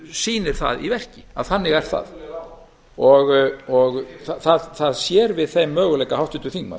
sýnir í verki að þannig er það það sér við þeim möguleika háttvirtur þingmaður